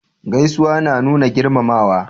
Gaisuwa na nuna girmamawa